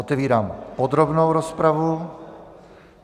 Otevírám podrobnou rozpravu.